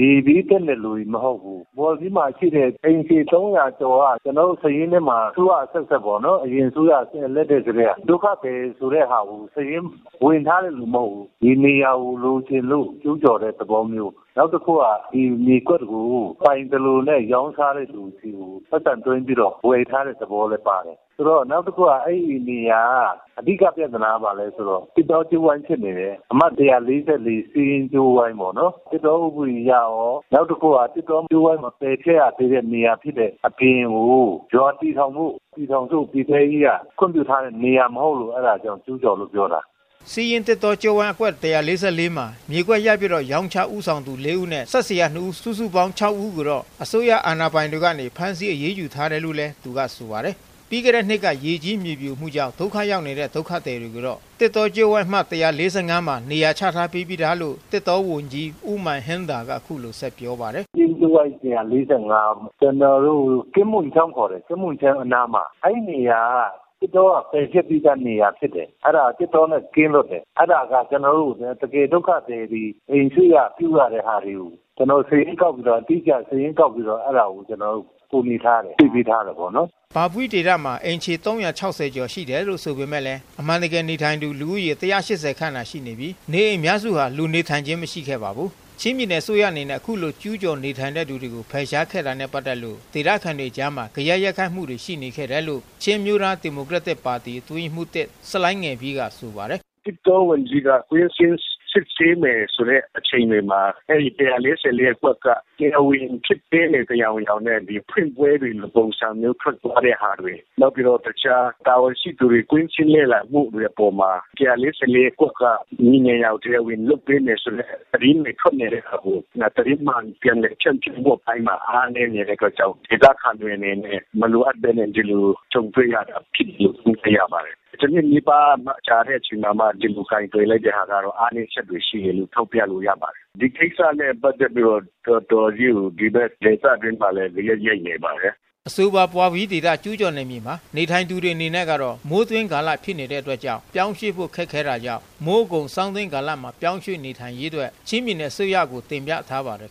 ရေဘေးသင့်တဲ့လူတွေမဟုတ်ဘူး။ ဇောလ်ပီးမှာရှိတဲ့ အိမ်ခြေ ၃၀၀ ကျော်က ကျနော်တို့စာရင်းထဲမှာ အစိုးရအဆက်ဆက်ပေါ့နော် အရင်အစိုးရလက်ထက်ကတည်းက ဒုက္ခသည်ဆိုတာကို စာရင်းဝင်ထားတဲ့လူတွေမဟုတ်ဘူး။ ဒီနေရာကို လိုချင်လို့ ကျူးကျော်တဲ့သဘောမျိုး။ နောက်တခုက ဒီမြေကွက်ကို ပိုင်သလိုလိုနဲ့ ရောင်းစားတဲ့လူဆီကို ပိုက်ဆံသွင်းပြီးတော့ ဝယ်ထားတဲ့သဘောလည်းပါတယ်။ ဆိုတော့ နောက်တခုက အဲဒီနေရာက အဓိကပြဿနာက ဘာလဲဆိုတော့ သစ်တောကြိုးဝိုင်းဖြစ်နေတယ်။ အမှတ် ဆီးယင်းသစ်တောကြိုးဝိုင်း ပေါ့နော် သစ်တော့ဥပဒေအရကော နောက်တခုက သစ်တောကြိုးဝိုင်းမပယ်ဖျက်ရသေးတဲ့နေရာဖြစ်တဲ့အပြင် ရွာတည်ဖို့ ပြည်ထောင်စုပြည်ထဲရေးက ခွင့်ပြုထားတဲ့နေရာမဟုတ်လို့ ကျူးကျော်လို့ပြောတာ။” ဆီးယင်းသစ်တောကြိုးဝိုင်း မှာ မြေကွက်ရိုက်ရောင်းချဦးဆောင်သူ ၄ ဦး နှင့် စက်ဆရာ ၂ ဦး စုစုပေါင်း လူ ၆ ဦးကို အစိုးရအာဏာပိုင်တွေကနေဖမ်းဆီးအရေးယူထားတယ်လို့လဲသူကဆိုပါတယ်။ ပြီးခဲ့တဲ့နှစ်ကရေကြီးမြေပြိုမှုကြောင့် ဒုက္ခရောက်နေတဲ့ ဒုက္ခသည်တွေကိုတော့ သစ်တောကြိုးဝိုင်းအမှတ် မှာ နေရာချထားပေးပြီးသားလို့ သစ်တောဝန်ကြီး ဦးမာန်ဟင်းဒါလ်ကအခုလိုဆက်ပြောပါတယ်။ “သစ်တောကြိုးဝိုင်း ကျနော်တို့ အဲဒီနေရာက သစ်တောက ပယ်ဖျက်ပြီးသားနေရာဖြစ်တယ်။ အဲဒါက သစ်တောနဲ့ ကင်းလွတ်တယ်။ အဲဒါက တကယ့် ဒုက္ခသည်တွေ ကို ကျနော်တို့ သေချာစာရင်းကောက်ပြီးတော့ ကူညီထားတယ်ပေါ့နော်။” အိမ်ခြေ ရှိတယ်လို့ဆိုပေမဲ့အမှန်တကယ်နေထိုင်သူ လူဦးရေ ၁၈၀ ခန့်သာရှိနေပြီး နေအိမ်အများစုမှာ လူနေ ထိုင်ခြင်းမရှိခဲ့ပါဘူး။ ပြည်နယ်အစိုးရအနေနဲ့ ဒီလိုကျူးကျော်နေထိုင်သူတွေဖယ်ရှားခဲ့တာနဲ့ပက်သက်လို့ ဒေသခံတွေအကြားမှာ ဂယက် ရိုက်ခတ်မှုတွေရှိနေခဲ့တယ်လို့ ချင်းအမျိုးသား ဒီမိုကရက်တစ်ပါတီ အတွင်းရေးမှူး ဆလိုင်းငယ်ပီးကပြောပါတယ်။ “သစ်တောဝန်ကြီးက ကွင်းဆင်းစစ်ဆေးမယ်ဆိုတဲ့အချိန်တွေမှာ အဲဒီ ၁၄၄ အကွက်က တရားဝင်မဖြစ်သေးတဲ့ ယောင်ယောင်နဲ့ ဖြစ်သွားတာတွေ ၊ နောက်တခြား တာဝန်ရှိသူတွေ ကွင်းဆင်းလေ့လာတဲ့အပေါ်မှာ ၁၄၄ အကွက်ကို မြေနေရာ တရားဝင်လုပ်ပေးမယ်ဆိုတဲ့ သတင်းတွေထွက်နေတဲ့ဟာကို သတင်းမှန်ပြန်လည်ဖြန့်မှုအပိုင်းမှာ အားနည်းနေတဲ့ အတွက်ကြောင့် ဒေသခံတွေအနေနဲ့ ဒီလိုမလိုအပ်ပဲ ကြုံတွေ့ရတယ်လို့ သုံးသပ်ရပါတယ်။ ၁ နှစ်နီးပါးကြာမှ ဒီလိုကိုင်တွယ်လိုက်တဲ့ဟာကတော့ အားနည်းချက်တွေရှိတယ်လို့ ထောက်ပြလို့ရပါတယ်။ဒီကိစ္စနဲ့ ပတ်သက်ပြီးတော့ တော်တော်လေးကို ဒေသအတွင်းမှာလည်း ဂယက်ရိုက်နေပါတယ်။” အဆိုပါ ဘွာလ်ပီးဒေသ ကျူးကျော်နယ်မြေမှာ နေထိုင်သူတွေအနေနဲ့ကတော့ မိုးတွင်း ကာလဖြစ်နေတဲ့အတွက်ကြောင့် ပြောင်းရွှေ့ဖို့ခက်ခဲတာကြောင့် မိုးအကုန် ဆောင်းတွင်းကာလမှာပြောင်းရွှေ့နိုင်ရေးအတွက် ပြည်နယ်အစိုးရကိုတင်ပြ ထားပါတယ်